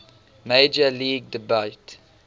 major league debut